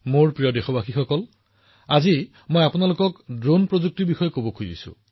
কিন্তু আজি যদি আমাৰ বিয়া বা ফাংচন হয় আমি ড্ৰোনেৰে ফটো আৰু ভিডিঅ বনোৱা দেখিছোঁ